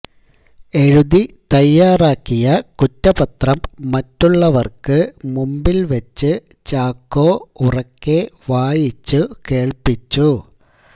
എഴുതി തയ്യാറാക്കിയ കുറ്റപത്രം മറ്റുള്ളവര്ക്ക് മുമ്പില് വച്ച് ചാക്കോ ഉറക്കെ വായിച്ചു കേള്പ്പിച്ചു